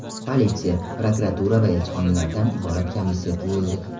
Politsiya, prokuratura va elchixonalardan iborat komissiya tuzildi.